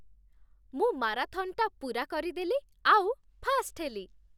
ମୁଁ ମାରାଥନ୍‌ଟା ପୂରା କରିଦେଲି ଆଉ ଫାର୍ଷ୍ଟ ହେଲି ।